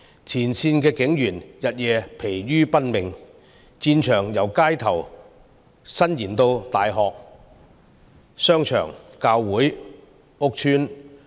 前線警員日夜疲於奔命，戰場由街頭伸延至大學、商場、教會和屋邨。